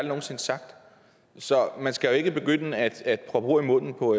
nogen sinde sagt så man skal ikke begynde at at proppe ord i munden på